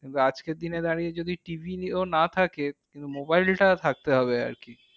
আজকের দিনে দাঁড়িয়ে যদি TV ও না থাকে mobile টা থাকতে হবে আরকি।